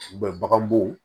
bagan bo